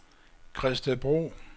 Gredstedbro